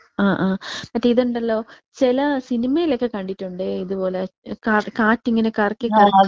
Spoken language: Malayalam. ആ ആ മറ്റേ ഇതുണ്ടലോ? ചില സിനിമയിലൊക്കെ കണ്ടിട്ടുണ്ടേ. ഇതുപോലെ കാ കാറ്റിങ്ങനെ കറക്കി കറക്കി.